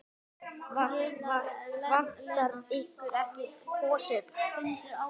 Vantar ykkur ekki hosur?